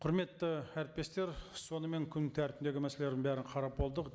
құрметті әріптестер сонымен күн тәртібіндегі мәселелердің бәрін қарап болдық